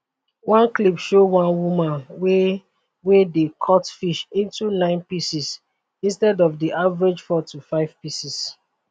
one clip show one woman wey wey dey cut fish into nine pieces instead of di average four to five pieces